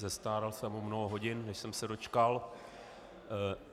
Zestárl jsem o mnoho hodin, než jsem se dočkal.